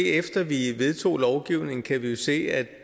efter at vi vedtog lovgivningen kan vi jo se at